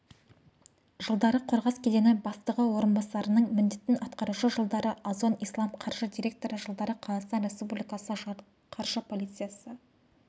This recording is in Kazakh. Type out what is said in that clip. жылдары қорғас кедені бастығы орынбасарының міндетін атқарушы жылдары озон-ислам қаржы директоры жылдары қазақстан республикасы қаржы полициясы